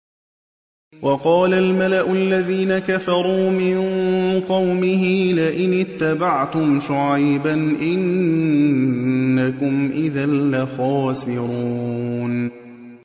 وَقَالَ الْمَلَأُ الَّذِينَ كَفَرُوا مِن قَوْمِهِ لَئِنِ اتَّبَعْتُمْ شُعَيْبًا إِنَّكُمْ إِذًا لَّخَاسِرُونَ